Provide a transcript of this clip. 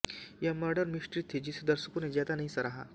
यह murder mystery थी जिसे दर्शकों ने ज्यादा नहीं सराहा